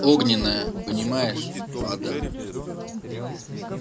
огненная понимаешь вода